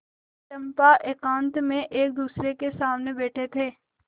चंपा एकांत में एकदूसरे के सामने बैठे थे